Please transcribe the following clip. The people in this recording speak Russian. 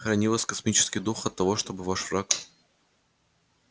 храни вас космический дух от того чтобы ваш враг